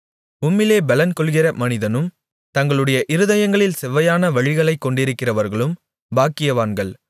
உம்மிலே பெலன்கொள்ளுகிற மனிதனும் தங்களுடைய இருதயங்களில் செவ்வையான வழிகளைக் கொண்டிருக்கிறவர்களும் பாக்கியவான்கள்